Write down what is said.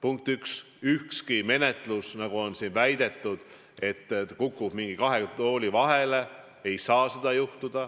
Ühegi menetlusega ei saa juhtuda seda, mida siin on väidetud, et kukub kahe tooli vahele.